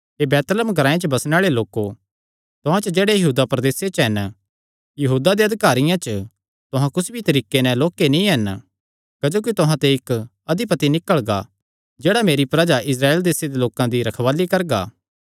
हे Bethlehem ग्रांऐ च बसणे आल़े लोको तुहां च जेह्ड़े यहूदा प्रदेसे च हन यहूदा दे अधिकारियां च तुहां कुस भी तरीके नैं लोक्के नीं हन क्जोकि तुहां ते इक्क अधिपति निकल़गा जेह्ड़ा मेरी प्रजा इस्राएल देसे दे लोकां दी रखवाल़ी करगा